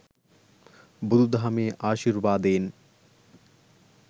බුදු දහමේ ආශිර්වාදයෙන්